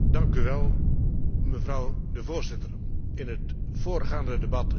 In het voorgaande debat is de naam al een aantal keren genoemd Eurosur.